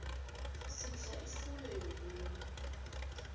sidla ifuyo yomunye